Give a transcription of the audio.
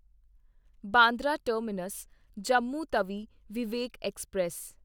Bandra Terminus Jammu Tawi Vivek express